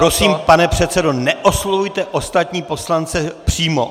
Prosím, pane předsedo, neoslovujte ostatní poslance přímo.